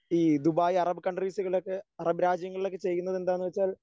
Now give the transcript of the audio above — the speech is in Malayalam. ഈ ദുബായ് അറബ് കൺട്രീസുകളിലൊക്കെ അറബ് രാജ്യങ്ങളിലൊക്കെ ചെയ്യുന്നതെന്താന്ന് വെച്ചാൽ